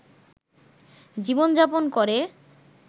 জীবনযাপন করে